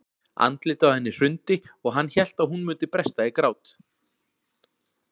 Andlitið á henni hrundi og hann hélt að hún myndi bresta í grát.